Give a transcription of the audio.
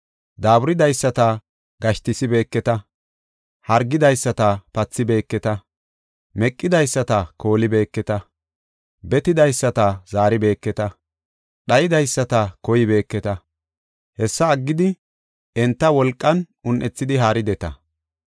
Daaburidaysata gashtisibeketa; hargidaysata pathibeeketa; meqidaysata koolibeeketa; betidaysata zaaribeeketa; dhaydaysata koybeketa. Hessa aggidi enta wolqan un7ethidi haarideta.